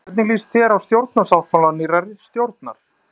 Hvernig líst þér á stjórnarsáttmála nýrrar stjórnar?